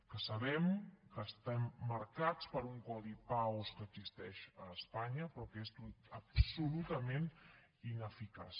que sabem que estem marcats per un codi paos que existeix a espanya però que és absolutament ineficaç